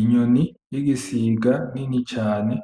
Inyoni yigisiga nini cane